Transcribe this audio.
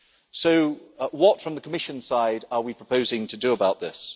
So what from the Commission side are we proposing to do about this?